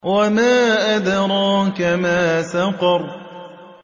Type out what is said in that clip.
وَمَا أَدْرَاكَ مَا سَقَرُ